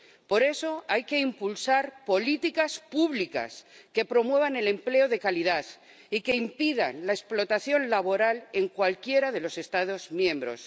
Por eso hay que impulsar políticas públicas, que promuevan el empleo de calidad y que impidan la explotación laboral en cualquiera de los Estados miembros.